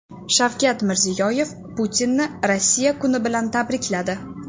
Shavkat Mirziyoyev Putinni Rossiya kuni bilan tabrikladi.